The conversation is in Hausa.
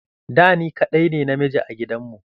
Da, ni kaɗai ne namiji a gidanmu.